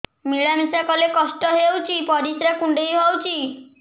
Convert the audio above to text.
ମିଳା ମିଶା କଲେ କଷ୍ଟ ହେଉଚି ପରିସ୍ରା କୁଣ୍ଡେଇ ହଉଚି